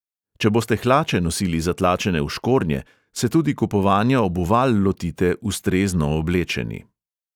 Če boste hlače nosili zatlačene v škornje, se tudi kupovanja obuval lotite ustrezno oblečeni.